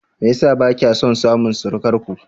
Me yasa bakya son samun surukarku?